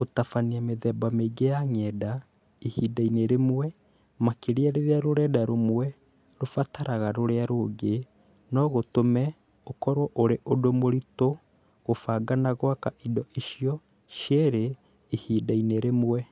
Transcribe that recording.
Gũtabania mĩthemba mĩingĩ ya ng’enda ihinda-inĩ rĩmwe, makĩria rĩrĩa rũrenda rũmwe rũbataraga rũrĩa rũngĩ, no gũtũme ũkorũo ũrĩ ũndũ mũritũ kũbanga na gwaka indo icio cierĩ ihinda-inĩ rĩmwe.